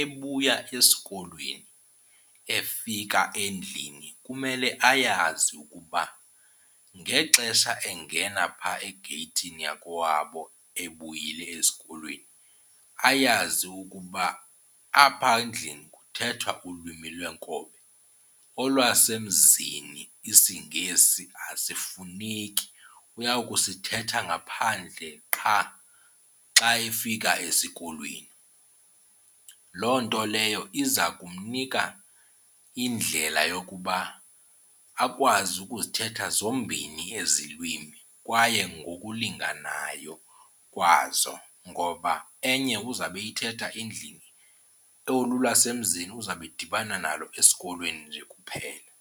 ebuya esikolweni efika endlini kumele ayazi ukuba ngexesha engena phaa egeyithini yakokwabo ebuyile esikolweni ayazi ukuba apha endlini kuthethwa ulwimi lwenkobe. Olwasemzini isiNgesi asifuneki, uya kusithetha ngaphandle qha xa efika esikolweni. Loo nto leyo iza kumnika indlela yokuba akwazi ukuzithetha zombini ezi lwimi kwaye ngokulinganayo kwazo, ngoba enye uzawube eyithetha endlini olu lwasemzini uzawube edibana nalo esikolweni nje kuphela.